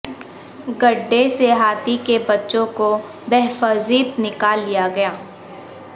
گڑھے سے ہاتھی کے بچوں کو بحفاظت نکال لیا گیا